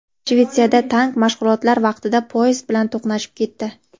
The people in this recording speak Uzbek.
Shvetsiyada tank mashg‘ulotlar vaqtida poyezd bilan to‘qnashib ketdi.